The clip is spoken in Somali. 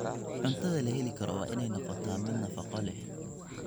Cuntada la heli karo waa inay noqotaa mid nafaqo leh.